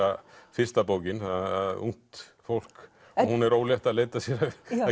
fyrsta bókin ungt fólk hún er ólétt að leita sér að